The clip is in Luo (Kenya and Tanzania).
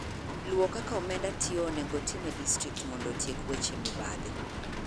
Luwo kaka omenda tiyo onego otim e distrikt mondo otiek weche mibadhi